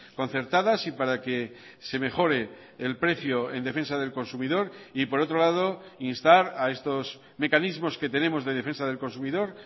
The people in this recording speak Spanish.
concertadas y para que se mejore el precio en defensa del consumidor y por otro lado instar a estos mecanismos que tenemos de defensa del consumidor